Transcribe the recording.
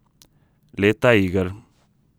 Leta iger.